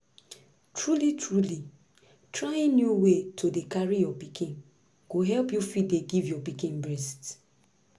truly truly trying new way to dey carry your pikin go help you fit dey give your pikin breast